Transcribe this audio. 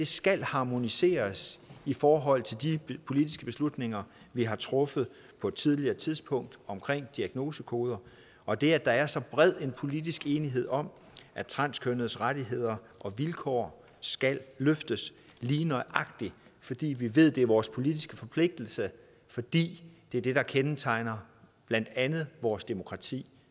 skal harmoniseres i forhold til de politiske beslutninger vi har truffet på et tidligere tidspunkt omkring diagnosekoder og det at der er så bred en politisk enighed om at transkønnedes rettigheder og vilkår skal løftes lige nøjagtig fordi vi ved at det er vores politiske forpligtelse fordi det er det der kendetegner blandt andet vores demokrati